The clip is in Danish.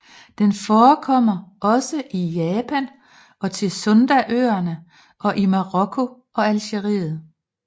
Den forekommer også i Japan og til Sundaøerne og i Marokko og Algeriet